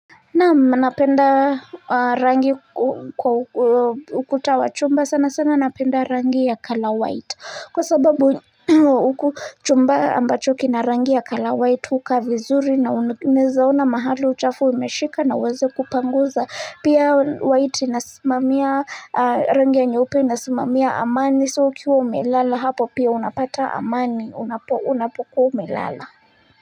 Naam napenda rangi ukuta wa chumba sana sana napenda rangi ya color white kwa sababu chumba ambacho kina rangi ya color white hukaa vizuri na unawezaona mahali uchafu umeshika nauweze kupanguza pia white inasimamia rangi ya nyeupe inasimamia amani so ukiwa umelala hapo pia unapata amani unapokuwa umelala.